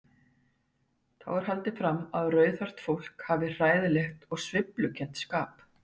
Þá er haldið fram að rauðhært fólk hafi hræðilegt og sveiflukennt skap.